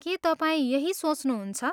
के तपाईँ यही सोच्नहुन्छ?